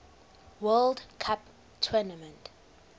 world cup tournament